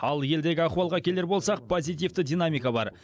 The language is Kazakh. ал елдегі ахуалға келер болсақ позитивті динамика бар